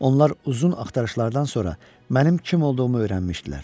Onlar uzun axtarışlardan sonra mənim kim olduğumu öyrənmişdilər.